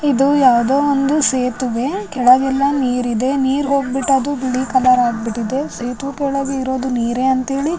ಇದು ಯಾವ್ದೋ ಒಂದು ಸೇತುವೆ ಕೆಳಗೆಲ್ಲ ನೀರಿದೆ ನೀರ್ ಹೋಗ್ಬಿಟ್ಟು ಅದು ಬಿಳಿ ಕಲರ್ ಆಗ್ಬಿಟ್ಟಿದೆ ಇದು ಕೆಳಗೆ ಇರೋದ್ ನೀರ್ ಅಂತೇಳಿ --